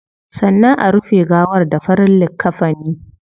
Sannan a rufe gawar da farin likkafini